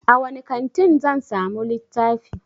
A wani kantin zan samu littafi?